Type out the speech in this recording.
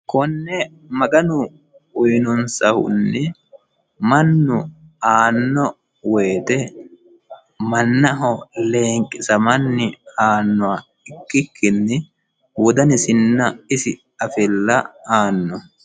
konne maganu uyinunsahunni mannu aanno woyite mannaho leenqisamanni aannoha ikkikkinni wodanisinna isi afilla aanno.